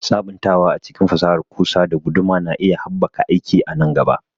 Sabuntawa a cikin fasahar ƙusa da guduma na iya haɓaka aiki a nan gaba.